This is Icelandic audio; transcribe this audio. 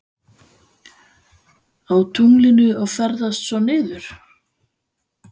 Á tunglinu og ferðast svo niður?